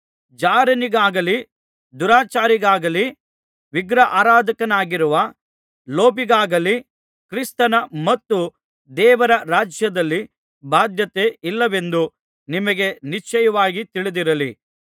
ಜಾರನಿಗಾಗಲಿ ದುರಾಚಾರಿಗಾಗಲಿ ವಿಗ್ರಹಾರಾಧಕನಾಗಿರುವ ಲೋಭಿಗಾಗಲಿ ಕ್ರಿಸ್ತನ ಮತ್ತು ದೇವರ ರಾಜ್ಯದಲ್ಲಿ ಬಾಧ್ಯತೆ ಇಲ್ಲವೆಂದು ನಿಮಗೆ ನಿಶ್ಚಯವಾಗಿ ತಿಳಿದಿರಲಿ